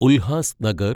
Ulhasnagar